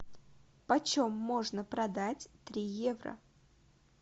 почем можно продать три евро